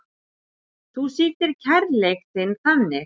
Þú sýndir kærleik þinn þannig.